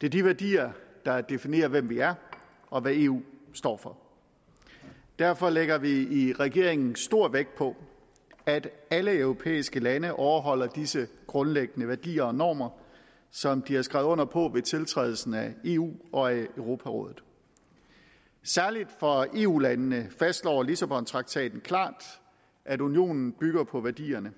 det er de værdier der definerer hvem vi er og hvad eu står for derfor lægger vi i regeringen stor vægt på at alle europæiske lande overholder disse grundlæggende værdier og normer som de har skrevet under på ved tiltrædelsen af eu og europarådet særligt for eu landene fastslår lissabontraktaten klart at unionen bygger på værdierne